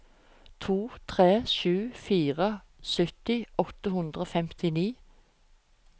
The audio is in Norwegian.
to tre sju fire sytti åtte hundre og femtini